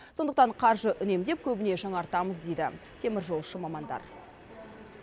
сондықтан қаржы үнемдеп көбіне жаңартамыз дейді теміржолшы мамандар